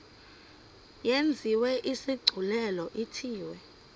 yenziwe isigculelo ithiwe